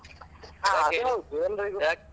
ಹಾ ಅದ್ ಹೌದು